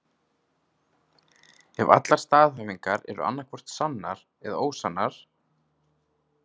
Ef allar staðhæfingar eru annaðhvort sannar eða ósannar.